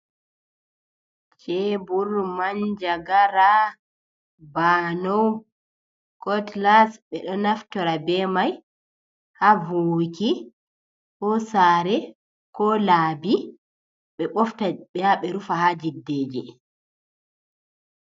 Chebur, manjagara, bano, kotlas ɓeɗo naftora ɓe mai ha vowuki ha saare ko laabi ɓe bofta b ɓe yaɓe rufa ha jiddeje.